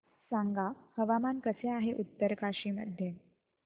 सांगा हवामान कसे आहे उत्तरकाशी मध्ये